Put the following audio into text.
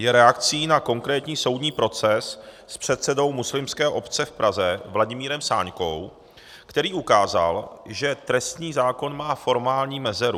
Je reakcí na konkrétní soudní proces s předsedou muslimské obce v Praze Vladimírem Sáňkou, který ukázal, že trestní zákon má formální mezeru.